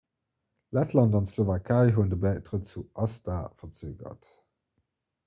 lettland an d'slowakei hunn de bäitrëtt zu acta verzögert